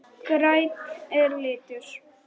Grænn er litur.